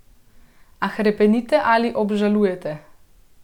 A hrepenite ali obžalujete?